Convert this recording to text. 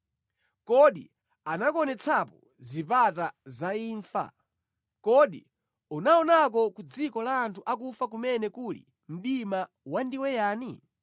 Kodi anakuonetsapo zipata za imfa? Kodi unaonako ku dziko la anthu akufa kumene kuli mdima wandiweyani?